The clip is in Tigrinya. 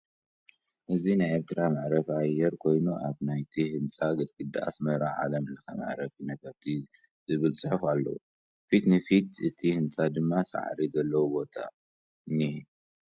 እዚ ናይ ኤርትራ መዕረፊ አየር ኮይኑ አብ ናይቲ ህንፃ ግድግዳ አስመራ ዓለምለከ መዕርፎ ነፈርቲ ዝብል ፅሑፍ አለዎ፡፡ ፊት ንፊት እቲ ህንፃ ድማ ሳዕሪ ዘለዎ ቦታ እኒሀ፡፡